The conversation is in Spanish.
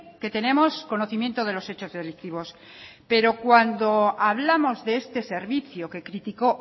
que tenemos conocimiento de los hechos delictivos pero cuando hablamos de este servicio que criticó